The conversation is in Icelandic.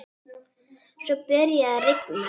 Svo byrjaði að rigna.